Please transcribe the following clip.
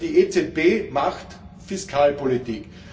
Also, die EZB macht Fiskalpolitik.